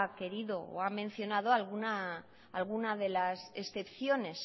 querido o ha mencionado alguna de las excepciones